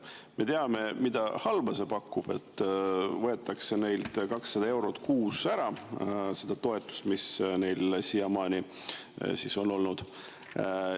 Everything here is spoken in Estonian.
Me teame, mida halba see pakub: neilt võetakse 200 eurot kuus ära seda toetust, mida nad siiamaani on saanud.